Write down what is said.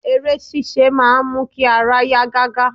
Eré sisé máa n mu ki ara ya gaga